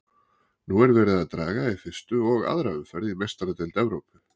Nú er verið að draga í fyrstu og aðra umferð í Meistaradeild Evrópu.